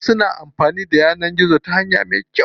Wasu kuma na amfanin da yanar gizo ta hanya me kyau.